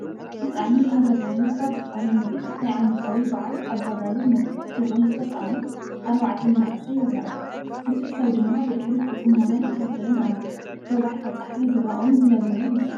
ብጣዕሚ ኣገራሚ ካብ ዝኾነ ምርኢት ናይ ዓመታዊ በዓል ኣባ ጋብር መልክዕ ሒዞም ዝተሳእሉ 4 መናእሰይ ይራኣዩ፣ ብዙሕ ሰብ ድማ ብድሕሪት ብፅሞና ይከታተሎም ኣሎ፡፡ ወጋሕታ ፀሓይ ብራቕ ውን ዝነበረ ይመስል፡፡